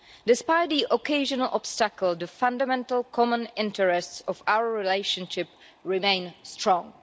Despite the occasional obstacle, the fundamental common interests of our relationship remain strong.